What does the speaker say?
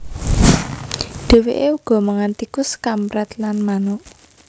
Dèwèké uga mangan tikus kamprèt lan manuk